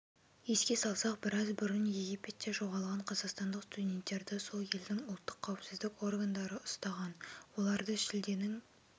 еске салсақ біраз бұрын египетте жоғалған қазақстандық студенттерді сол елдің ұлттық қауіпсіздік органдары ұстаған оларды шілденің